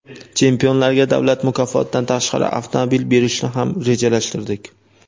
Chempionlarga davlat mukofotidan tashqari avtomobil berishni ham rejalashtirdik.